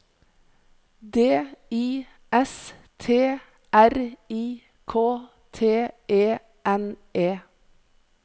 D I S T R I K T E N E